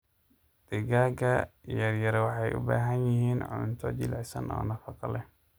Digaaga yaryar waxay u baahan yihiin cunto jilicsan oo nafaqo leh.